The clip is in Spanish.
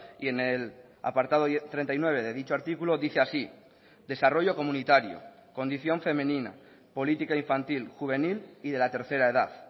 y en el apartado treinta y nueve de dicho artículo dice así desarrollo comunitario condición femenina política infantil juvenil y de la tercera edad